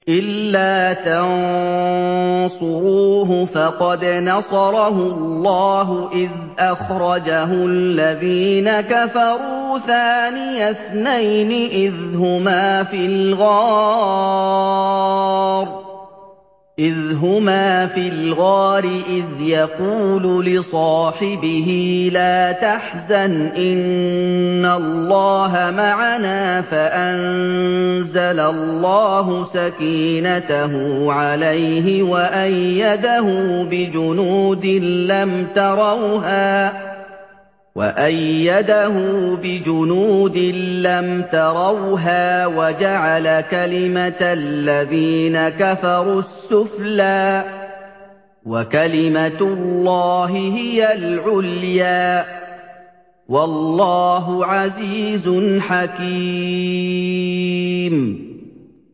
إِلَّا تَنصُرُوهُ فَقَدْ نَصَرَهُ اللَّهُ إِذْ أَخْرَجَهُ الَّذِينَ كَفَرُوا ثَانِيَ اثْنَيْنِ إِذْ هُمَا فِي الْغَارِ إِذْ يَقُولُ لِصَاحِبِهِ لَا تَحْزَنْ إِنَّ اللَّهَ مَعَنَا ۖ فَأَنزَلَ اللَّهُ سَكِينَتَهُ عَلَيْهِ وَأَيَّدَهُ بِجُنُودٍ لَّمْ تَرَوْهَا وَجَعَلَ كَلِمَةَ الَّذِينَ كَفَرُوا السُّفْلَىٰ ۗ وَكَلِمَةُ اللَّهِ هِيَ الْعُلْيَا ۗ وَاللَّهُ عَزِيزٌ حَكِيمٌ